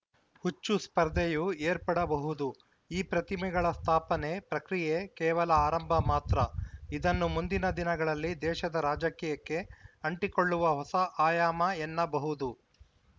ಹುಚ್ಚು ಸ್ಪರ್ಧೆಯೂ ಏರ್ಪಡಬಹುದು ಈ ಪ್ರತಿಮೆಗಳ ಸ್ಥಾಪನೆ ಪ್ರಕ್ರಿಯೆ ಕೇವಲ ಆರಂಭ ಮಾತ್ರ ಇದನ್ನು ಮುಂದಿನ ದಿನಗಳಲ್ಲಿ ದೇಶದ ರಾಜಕೀಯಕ್ಕೆ ಅಂಟಿಕೊಳ್ಳುವ ಹೊಸ ಆಯಾಮ ಎನ್ನಬಹುದು